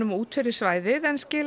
út fyrir svæðið en skila